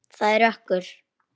Það er rökkur.